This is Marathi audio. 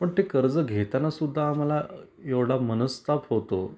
पण ते कर्ज घेताना सुद्धा आम्हाला एवढा मनस्ताप होतो.